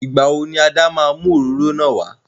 Igba wo ni Ada ma mu oróro náà wà?